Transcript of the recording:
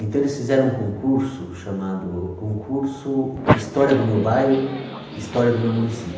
Então, eles fizeram um concurso chamado Concurso História do Meu Bairro, História do Meu